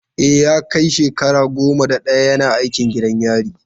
E, ya kai shekara goma sha daya yana aikin gadin gidan yari.